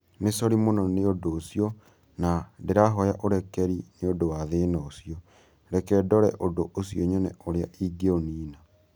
Nĩ sori mũno nĩ ũndũ ũcio na nĩ ndĩrahoya ũrekeri nĩ ũndũ wa thĩna ũcio. Reke ndore ũndũ ũcio nyone ũrĩa ingĩũniina.